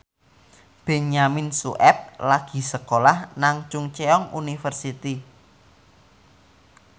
Benyamin Sueb lagi sekolah nang Chungceong University